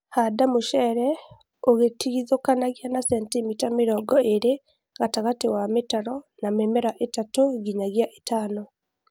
Handa mucere ũgĩtigithũkanagia na centimita mĩrongo ĩlĩ gatagatĩ wa mĩtaro na mĩmera ĩtatu nginyagia ĩtano